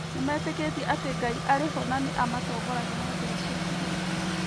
Nĩmetĩkĩtie atĩ Ngai arĩ ho na nĩ amatongoragia na njĩra cia kĩhooto.